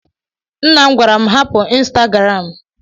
Nna m gwara m hapụ Insitagaram.